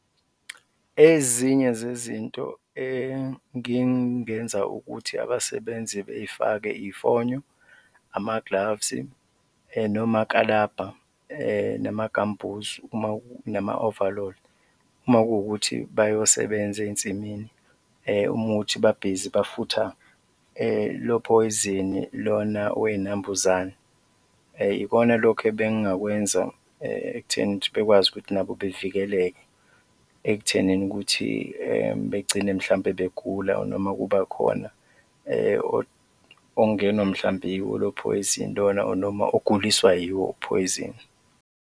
Ezinye zezinto engingenza ukuthi abasebenzi bey'fake iy'fonyo, ama-gloves-i nomakalabha nama-gumboots nama-ovaloli uma kuwukuthi bayosebenza ey'nsimini, uma kuwukuthi babhizi bafutha lophoyizini lona wey'nambuzane, ikona lokhu ebengingakwenza ekutheni ukuthi bekwazi ukuthi nabo bevikeleke ekuthenini ukuthi begcine mhlawumbe begula or noma kuba khona ongenwa mhlawumbe yiwo lo phoyizini lona or noma uguliswa yiwo uphoyizini.